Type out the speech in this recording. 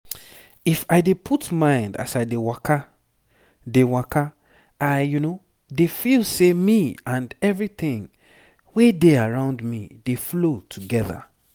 if i dey put mind as i dey waka dey waka i dey feel say me and everything we dey around me dey flow together.